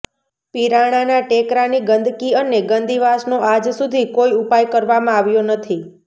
પીરાણાના ટેકરાની ગંદકી અને ગંદી વાસનો આજ સુધી કોઈ ઉપાય કરવામાં આવ્યો નથી